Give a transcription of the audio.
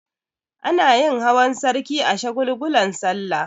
Anayin hawan sarki a shagulgulan sallah